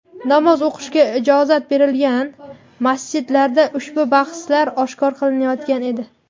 Namoz o‘qishga ijozat berilgan masjidlarda ushbu bahslar oshkora qilinayotgan edi.